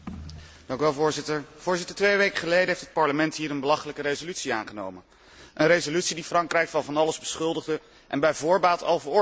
Voorzitter, twee weken geleden heeft het Parlement hier een belachelijke resolutie aangenomen, een resolutie die Frankrijk van van alles beschuldigde en bij voorbaat al veroordeelde.